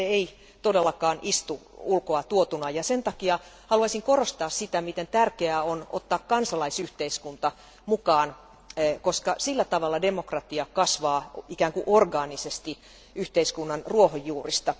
Se ei todellakaan istu ulkoa tuotuna ja sen takia haluaisin korostaa sitä, miten tärkeää on ottaa kansalaisyhteiskunta mukaan, koska sillä tavalla demokratia kasvaa ikään kuin orgaanisesti yhteiskunnan ruohonjuurista.